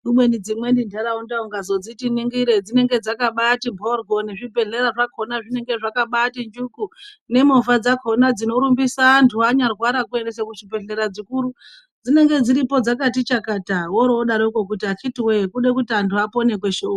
Kumweni dzimweni ndaraunda ukadziti ningire dzinenge dzakabati mhoryo nezvibhedhlera zvakona zvinenge zvakabati njuku nemovha dzakona dzinorumbisa antu anyarwara kuendesa kuzvibhedhlera zvikuru dzinenge dziripo dzakati chakata worodaroko woti akiti woye kuda kuti antu apone kweshe uko.